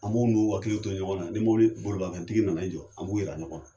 An b'o n'u hakili to ɲɔgɔnna, ni mobili bolimafɛntigi nana i jɔ, an b'u yira ɲɔgɔnna.